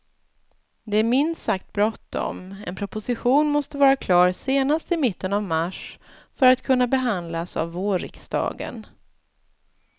Det är minst sagt bråttom, en proposition måste vara klar senast i mitten av mars för att kunna behandlas av vårriksdagen.